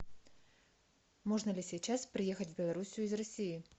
можно ли сейчас приехать в белоруссию из россии